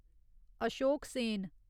Ashok Sen